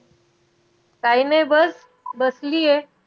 काय नाही बस, बसलीये.